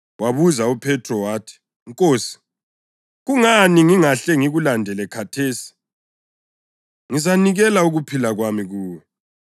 Wabuza uPhethro wathi, “Nkosi, kungani ngingahle ngikulandele khathesi? Ngizanikela ukuphila kwami kuwe.”